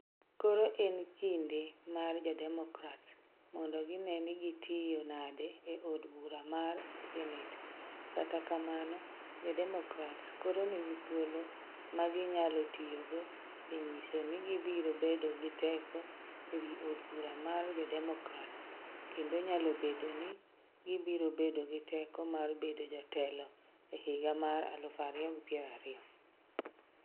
Koro en kinde mar Jo-Democrats mondo gine ni gitiyo nade e od bura mar senet, kata kamano, Jo-Democrats koro nigi thuolo ma ginyalo tiyogo e nyiso ni gibiro bedo gi teko e wi Od Bura mar Jo-Democrats kendo nyalo bedo ni gibiro bedo gi teko mar bedo jotelo e higa mar 2020.